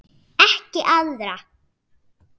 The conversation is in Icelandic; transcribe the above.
Ekki arða.